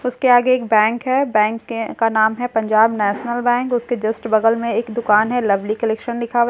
उसके आगे एक बैंक है बैंक के का नाम है पंजाब नेशनल बैंक उसके जस्‍ट बगल में एक दुकान है लवली कलेक्‍शन‍ लिखा हुआ है एक सीढ़ी --